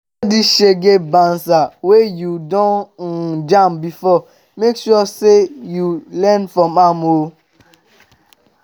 all di shege banza wey yu don um jam bifor mek sure sey yu learn from am o